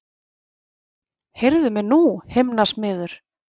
Heyrðu mig nú himnasmiður!